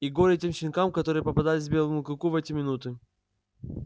и горе тем щенкам которые попадались белому клыку в эти минуты